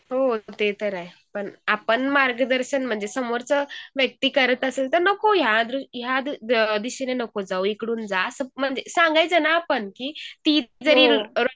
हो ते तर आहे पण आपण मार्गदर्शन म्हणजे समोरच व्यक्ती करत असेल तर नको ह्या दिशेने नको जाऊ इकडून जा असं म्हणजे सांगायचे ना आपण की ती जरी